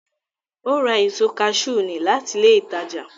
Ó ra èso kaṣú ní láti ilé ìtajà